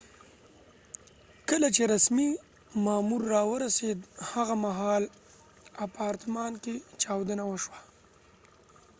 کله چې رسمی مامور راورسید هغه مهال اپارتمان کې چاودنه وشوه